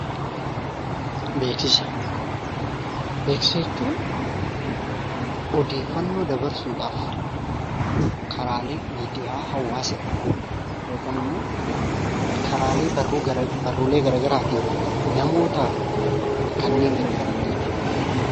Beeksisa jechuun odeeffannoo dabarsuudhaaf karaalee miidiyaa hawwaasaa yookiin immoo karaalee barruu garaa garaatiin namootaatiif kanneen gargaaran jechuu dha.